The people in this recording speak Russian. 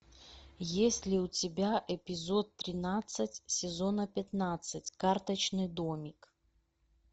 есть ли у тебя эпизод тринадцать сезона пятнадцать карточный домик